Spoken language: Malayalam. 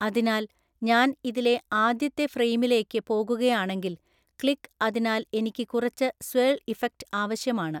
അതിനാൽ ഞാൻ ഇതിലെ ആദ്യത്തെ ഫ്രെയിമിലേക്ക് പോകുകയാണെങ്കിൽ ക്ലിക് അതിനാൽ എനിക്ക് കുറച്ച് സ്വേള്‍ ഇഫക്റ്റ് ആവശ്യമാണ്.